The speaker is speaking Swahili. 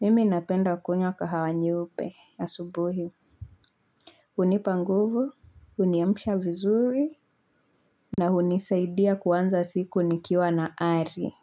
Mimi napenda kunywa kahawa nyeupe asubuhi. Unipa nguvu, uniamsha vizuri. Na hunisaidia kuanza siku nikiwa na ari.